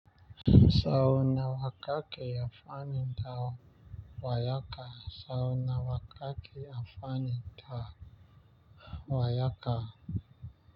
Sau na wa kake ya fani da wayaka. Sau na waƙaƙe ya fani da wayaka.